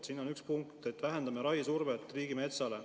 Siin on üks punkt, et vähendame raiesurvet riigimetsale.